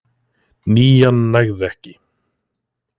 Nían nægði ekki